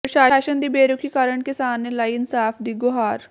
ਪ੍ਰਸ਼ਾਸਨ ਦੀ ਬੇਰੁਖ਼ੀ ਕਾਰਨ ਕਿਸਾਨ ਨੇ ਲਾਈ ਇਨਸਾਫ਼ ਦੀ ਗੁਹਾਰ